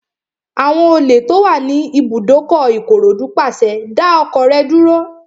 Àwọn olè tó wà ní ibùdókọ̀ Ìkòròdú pàṣẹ, "dá ọkọ̀ rẹ dúró!"